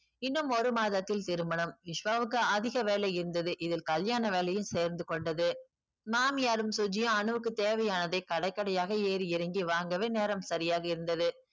இன்னும் ஒரு மாதத்தில் திருமணம் விஸ்வாக்கு அதிக வேலை இருந்தது இதில் கல்யாண வேலையும் சேர்ந்து கொண்டது மாமியாரும் சுஜியும் அனுவுக்கு தேவையானதை கடை கடையாக ஏறி இறங்கி வாங்கவே நேரம் சரியாக இருந்தது